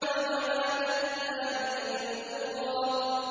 وَمَنَاةَ الثَّالِثَةَ الْأُخْرَىٰ